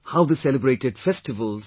How they celebrated the festivals